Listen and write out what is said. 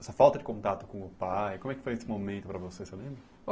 Essa falta de contato com o pai, como é que foi esse momento para você, você lembra?